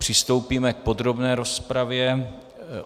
Přistoupíme k podrobné rozpravě.